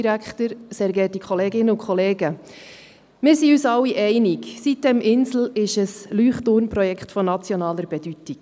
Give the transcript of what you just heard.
Die sitem-insel ist ein Leuchtturmprojekt von nationaler Bedeutung.